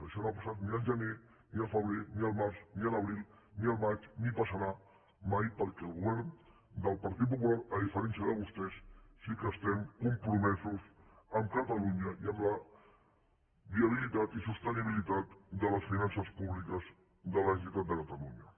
això no ha passat ni al gener ni al febrer ni al març ni a l’abril ni al maig ni passarà mai perquè el govern del partit popular a diferència de vostès sí que estem compromesos amb catalunya i amb la viabilitat i sostenibilitat de les finances públiques de la generalitat de catalunya